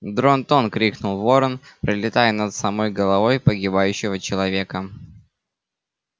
дрон-тон крикнул ворон пролетая над самой головой погибающего человека